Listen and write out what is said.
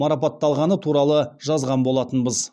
марапатталғаны туралы жазған болатынбыз